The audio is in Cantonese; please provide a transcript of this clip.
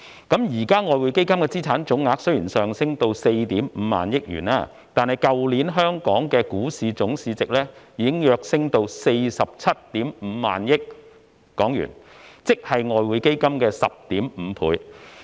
現時的外匯基金資產總額雖已上升至 45,000 億元，但去年的香港股市總市值已躍升至 475,000 億港元，即外匯基金的 10.5 倍。